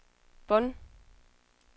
Bonn